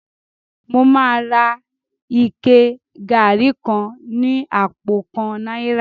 Mo máa ra ike gari kan ní àpò kan náírà